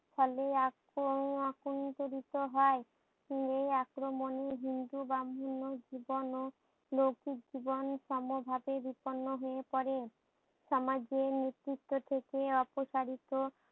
ফলে আক এ আকন্তরিত হয় এই আক্রমণে হিন্দু ব্রাম্মহন্ন জীবন ও লৌকিক জীবন সমভাবে বিপন্ন হয়ে পরে সমাজের নেতৃত্ব থেকে অপসারিত